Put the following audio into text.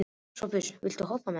Sophus, viltu hoppa með mér?